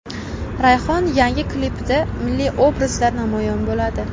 Rayhon yangi klipida milliy obrazda namoyon bo‘ladi.